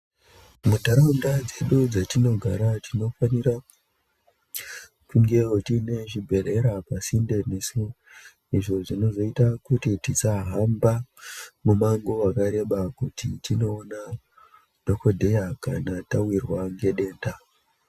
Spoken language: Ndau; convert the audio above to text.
Muntaraunda dzedu dzetunogara tinofanira kungewo tinewo zvibhedhlera pasinde nesu izvo zvinoita kuti tisahamba mumango mukuru kana tichinge tawirwa ngedambudziko .